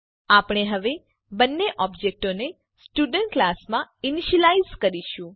આપણે હવે બંને ઓબજેક્ટોને સ્ટુડન્ટ ક્લાસમાં ઈનીશ્યલાઈઝ કરીશું